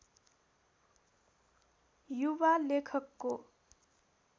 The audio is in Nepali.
युवा लेखकको